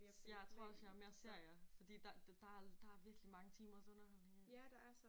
Jeg tror også jeg er mere serier fordi der der der der er virkelig mange timers underholdning i